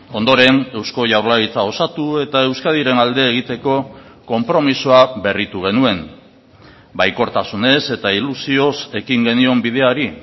ondoren eusko jaurlaritza osatu eta euskadiren alde egiteko konpromisoa berritu genuen baikortasunez eta ilusioz ekin genion bideari